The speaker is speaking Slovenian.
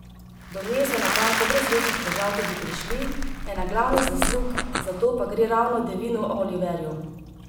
Do nje so na koncu brez večjih težav tudi prišli, ena glavnih zaslug za to pa gre ravno Devinu Oliverju.